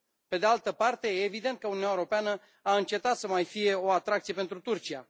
Pe de altă parte, e evident că Uniunea Europeană a încetat să mai fie o atracție pentru Turcia.